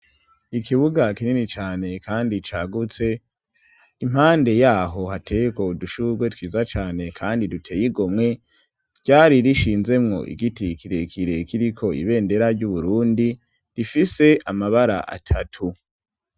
Ikibuga kinini cane kandi cagutse, impande yaho hateyeko udushurwe twiza cane kandi duteye igomwe, ryari rishinzemwo igiti kirekire kiriko ibendera ry'u Burundi rifise amabara atatu.